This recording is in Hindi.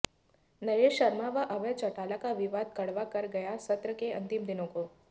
नरेश शर्मा व अभय चौटाला का विवाद कड़वा कर गया सत्र के अंतिम दिन को